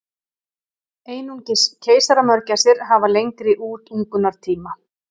Bílstjóri skólabíls datt út úr bílnum